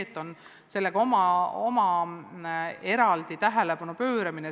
Aga et sellele on eraldi tähelepanu pööratud, on õige.